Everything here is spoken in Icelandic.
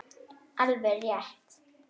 Alveg rétt.